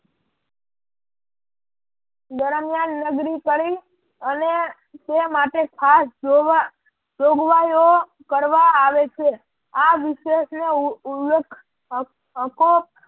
દરમિયાન નગરી કરી અને તે માટે ખાસ જોવા જોગવાઈઓ કરવા આવે છે આ વિશેષનો ઉલ્લેખ હક હકો